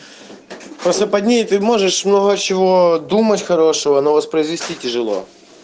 просто под ней ты можешь много чего думать хорошего но воспроизвести тяжело